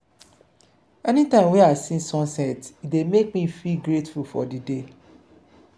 anytime wey i see sunset e dey make me feel grateful for di day.